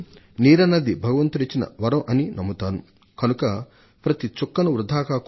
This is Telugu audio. నీరు దైవం ఇచ్చిన వరం అని నా నమ్మకం